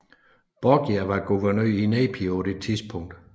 Borgia var guvernør af Nepi på dette tidspunkt